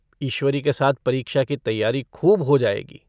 ईश्वरी के साथ परीक्षा की तैयारी खूब हो जाएगी।